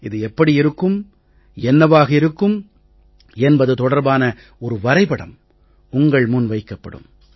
இது எப்படி இருக்கும் என்னவாக இருக்கும் என்பது தொடர்பான ஒரு வரைபடம் உங்கள் முன் வைக்கப்படும்